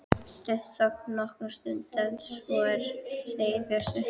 Stutt þögn nokkra stund en svo segir Bjössi